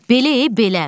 Belə, belə.